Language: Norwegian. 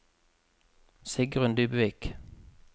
Sigrun Dybvik